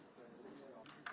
Sən bilirsən ki, sən.